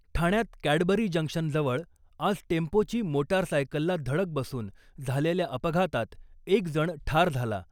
ठाण्यात कॅडबरी जंक्शनजवळ आज टेम्पोची मोटारसायकलला धडक बसून झालेल्या अपघातात एकजण ठार झाला .